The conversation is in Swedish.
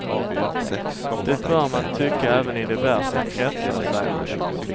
Det bör man tycka även i de värsta kretsar, säger han.